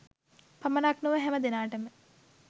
පමණක් නොව හැම දෙනාටම